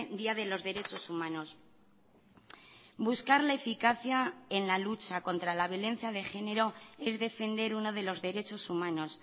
día de los derechos humanos buscar la eficacia en la lucha contra la violencia de género es defender uno de los derechos humanos